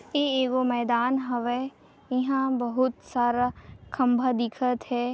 ए एगो मैदान हवय एहा बहुत सारा खम्भा दिखत हे।